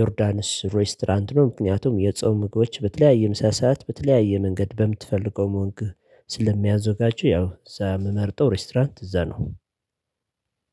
ዮርዳኖስ ሬስቶራንት ነው ምክንያቱም የጾም ምግቦች በተለያየ ምሳ ሰዓት በተለያየ መንገድ በምትፈልገው መልኩ ስለሚያዘጋጁ ያው ዛም ምመርጠው ሬስቶራንት እዛ ነው